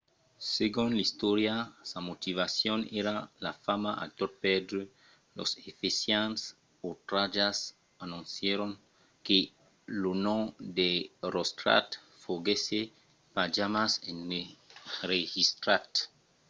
segon l’istòria sa motivacion èra la fama a tot pèrdre. los efesians otratjats anoncièron que lo nom d’erostrat foguèsse pas jamai enregistrat